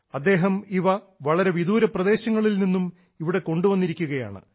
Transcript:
അദ്ദേഹം ഇവ വളരെ വിദൂര പ്രദേശങ്ങളിൽ നിന്നും ഇവിടെ കൊണ്ടുവന്നിരിക്കുകയാണ്